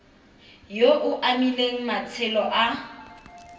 yo o amileng matshelo a